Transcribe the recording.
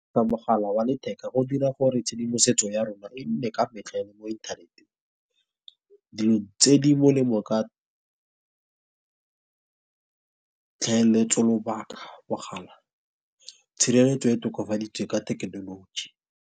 Ka mogala wa letheka go dira gore tshedimosetso ya rona e nne ka metlha le mo inthaneteng. Dilo tse di molemo bo ka tlhaeletso lobaka mogala. Tshireletso e tokafaditse ka thekenoloji.